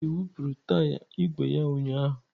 Chidị wụpụrụ taya igwe ya ụnyahụ.